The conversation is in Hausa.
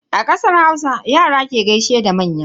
A kasar Hausa, Yara ke gaishe da manya.